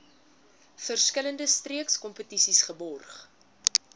verskillende streekskompetisies geborg